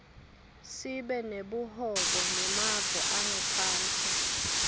sibe nebuhobo nemave angephandle